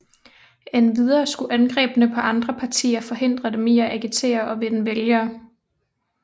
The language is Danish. Endvidere skulle angreb på andre partier forhindre dem i at agitere og vinde vælgere